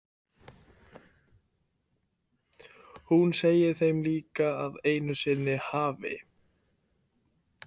Hún segir þeim líka að einu sinni hafi